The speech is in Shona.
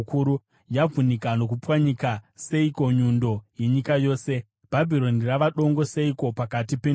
Yavhunika nokupwanyika seiko nyundo yenyika yose! Bhabhironi rava dongo seiko pakati pendudzi!